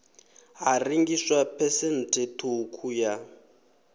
ha rengiswa phesenthe ṱhukhu ya